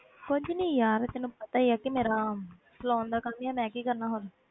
ਕੁਛ ਨੀ ਯਾਰ ਤੈਨੂੰ ਪਤਾ ਹੀ ਆ ਕਿ ਮੇਰਾ saloon ਦਾ ਕੰਮ ਹੀ ਆ, ਮੈਂ ਕੀ ਕਰਨਾ ਹੋਰ।